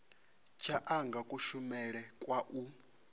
tsha anga kushumele kwa u